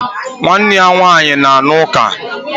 Nwanne ya nwanyi na-aṅa ọka.